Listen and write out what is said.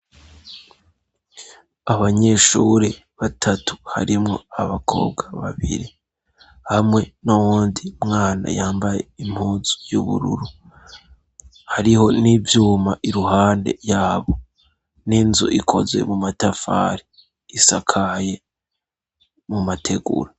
abanyeshuri batatu harimwo abakobwa babiri hamwe n'uwundi mwana yambaye impuzu y'ubururu hariho n'ivyuma iruhande yabo n'inzu ikoze mu matafari isakaye mu mategura